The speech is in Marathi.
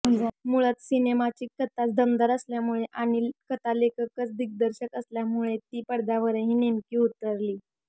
मुळात सिनेमाची कथाच दमदार असल्यामुळे आणि कथालेखकच दिग्दर्शक असल्यामुळे ती पडद्यावरही नेमकी उतरलीय